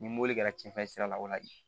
Ni mobili kɛra cɛnfɛ sira la o la